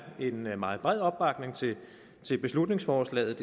en meget bred opbakning til beslutningsforslaget